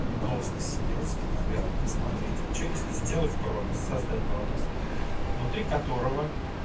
метловский сернурский наверное смотреть а что если сделать промис создать промис внутри которого